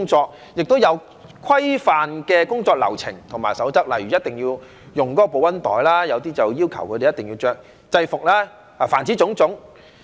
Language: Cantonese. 再者，它們亦有訂下規範的工作流程及守則，例如一定要用該公司的保溫袋，有些則要求他們一定要穿制服。凡此種種。